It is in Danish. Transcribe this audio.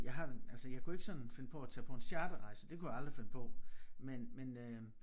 Jeg har altså jeg kunne ikke sådan finde på at tage på en charterrejse det kunne jeg aldrig finde på men men øh